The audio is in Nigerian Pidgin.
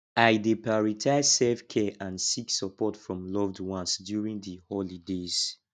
i dey prioritize selfcare and seek support from loved ones during di holidays